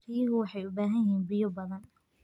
Riyuhu waxay u baahan yihiin biyo badan.